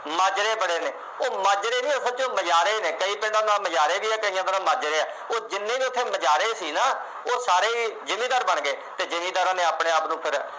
ਮਾਜ਼ਰੇ ਬੜੇ ਨੇ, ਉਹ ਮਾਜ਼ਰੇ ਨਹੀਂ ਉਹ ਸੱਚ ਮੁਜ਼ਾਹਰੇ ਨੇ, ਕਈ ਦਾ ਨਾਂ ਮੁਜ਼ਾਹਰੇ ਵੀ ਹੈ, ਕਈਆਂ ਦਾ ਨਾ ਮਾਜ਼ਰੇ ਵੀ ਹੈ। ਉਹ ਜਿੰਨੇ ਵੀ ਉੱਥੇ ਮੁਜ਼ਾਹਰੇ ਸੀ ਨਾ ਉਹ ਸਾਰੇ ਜਿਮੀਂਦਾਰ ਬਣ ਗਏ ਅਤੇ ਜਿਮੀਂਦਾਰਾਂ ਨੇ ਆਪਣੇ ਆਪ ਨੂੰ ਫੇਰ